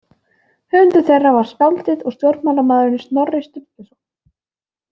Höfundur þeirra var skáldið og stjórnmálamaðurinn Snorri Sturluson.